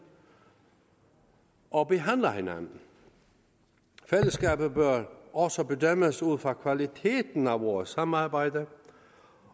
og behandler hinanden fællesskabet bør også bedømmes ud fra kvaliteten af vores samarbejde